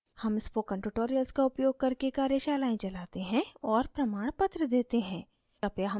हम spoken tutorials का उपयोग करके कार्यशालाएं चलाते हैं और प्रमाणपत्र देते हैं कृपया हमसे संपर्क करें